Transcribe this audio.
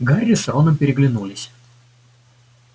гарри с роном переглянулись